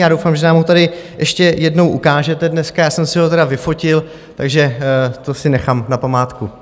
Já doufám, že nám ho tady ještě jednou ukážete dneska, já jsem si ho tedy vyfotil, takže to si nechám na památku.